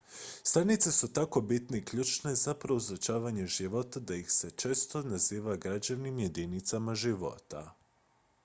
"stanice su tako bitne i ključne za proučavanje života da ih se često naziva "građevnim jedinicama života"".